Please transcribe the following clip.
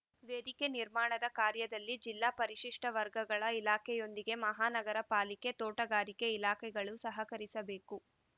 ವೇದಿಕೆ ನಿರ್ಮಾಣದ ಕಾರ್ಯದಲ್ಲಿ ಜಿಲ್ಲಾ ಪರಿಶಿಷ್ಟವರ್ಗಗಳ ಇಲಾಖೆಯೊಂದಿಗೆ ಮಹಾನಗರ ಪಾಲಿಕೆ ತೋಟಗಾರಿಕೆ ಇಲಾಖೆಗಳು ಸಹಕರಿಸಬೇಕು